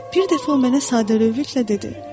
Bir dəfə o mənə sadəlövhlüklə dedi: